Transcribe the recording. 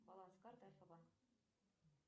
баланс карты альфа банк